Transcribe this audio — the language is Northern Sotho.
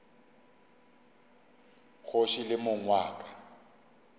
kgoši le mong wa ka